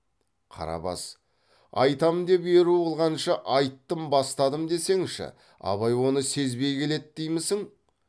қарабас айтам деп еру қылғанша айттым бастадым десеңші абай оны сезбей келеді деймісің